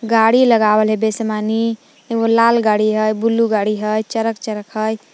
गाड़ी लगावल हय बेसमानी एगो लाल गाड़ी हय ब्लू गाड़ी हय चरक चरक हय।